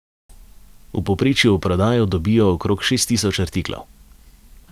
V povprečju v prodajo dobijo okrog šest tisoč artiklov.